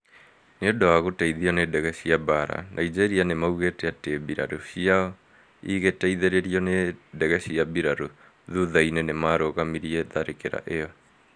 Nĩ ũndũ wa gũteithio nĩ ndege cia mbaara, Nigeria nĩmaugĩte atĩ mbirarũ ciao igĩteithĩrĩo ni ndege cia mbiraru, thutha-inĩ nĩmarũgamirie tharĩkĩra ĩyo